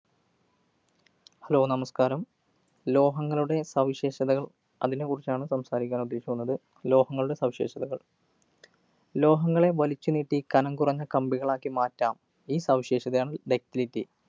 Hello! നമസ്കാരം. ലോഹങ്ങളുടെ സവിശേഷതകള്‍, അതിനെ കുറിച്ചാണ് സംസാരിക്കാന്‍ ഉദ്ദേശിക്കുന്നത്. ലോഹങ്ങളുടെ സവിശേഷതകള്‍. ലോഹങ്ങളെ വലിച്ചു നീട്ടി കനം കുറഞ്ഞ കമ്പികളാക്കി മാറ്റാം. ഈ സവിശേഷതയാണ് ductility.